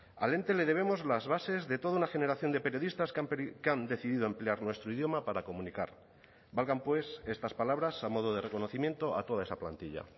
al ente le debemos las bases de toda una generación de periodistas que han decidido emplear nuestro idioma para comunicar valgan pues estas palabras a modo de reconocimiento a toda esa plantilla